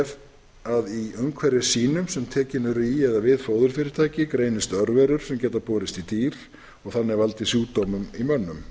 ef í umhverfi sýnum sem tekin eru í eða við fóðurfyrirtæki greinist örveirur sem geta borist í dýr og þannig valdið sjúkdómum í mönnum í